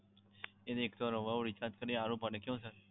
અને એક સો નવ્વાણું recharge કરી આપો ને કેવું sir